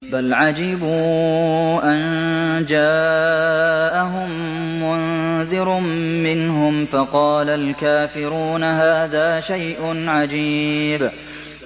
بَلْ عَجِبُوا أَن جَاءَهُم مُّنذِرٌ مِّنْهُمْ فَقَالَ الْكَافِرُونَ هَٰذَا شَيْءٌ عَجِيبٌ